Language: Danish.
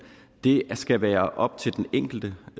det skal være op til den enkelte